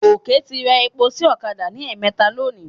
Gòkè ti ra epo sí ọ̀kadà ní ẹ̀ẹ̀mẹta lónìí.